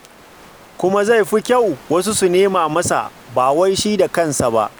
Kuma zai fi kyau wasu su nema masa, ba wai shi da kansa ba.